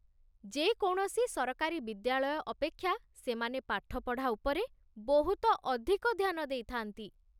ଯେ କୌଣସି ସରକାରୀ ବିଦ୍ୟାଳୟ ଅପେକ୍ଷା ସେମାନେ ପାଠପଢ଼ା ଉପରେ ବହୁତ ଅଧିକ ଧ୍ୟାନ ଦେଇଥାନ୍ତି।